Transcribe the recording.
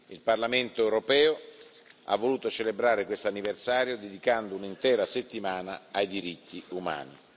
Il Parlamento europeo ha voluto celebrare questo anniversario dedicando un'intera settimana ai diritti umani.